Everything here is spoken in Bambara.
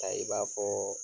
Ta i b'a fɔ